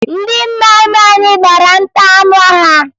Ndị nna nna anyị gbara nta anụ ha